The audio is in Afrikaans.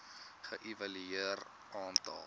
ge evalueer aantal